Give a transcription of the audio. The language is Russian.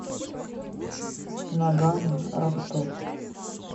ноггано ростов